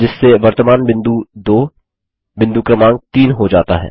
जिससे वर्तमान बिंदु 2 बिंदु क्रमांक 3 हो जाता है